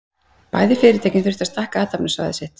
Bæði fyrirtækin þurftu að stækka athafnasvæði sitt.